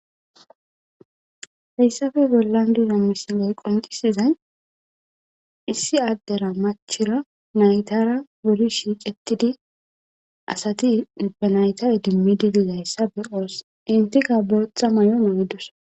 Hayssappe bollan diza misiley qonccisizay issi addera machira naytara wuri shiqettidi asati ba naytta iidimidi dizayssa entikka boththa mayo mayidossonna